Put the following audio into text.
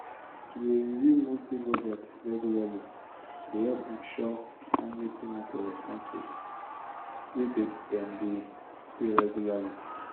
to dey review monthly budgets regularly dey help ensure timely payment of expenses wey them dey pay regularly.